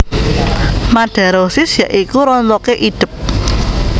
Madarosis ya iku rontoké idep